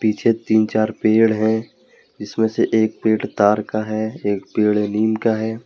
पीछे तीन चार पेड़ है जिसमे से एक पेड़ तार का है एक पेड़ नीम का है।